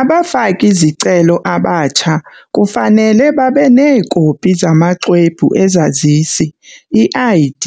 Abafaki-zicelo abatsha kufanele babe neekopi zamaXwebhu eZazisi, i-ID,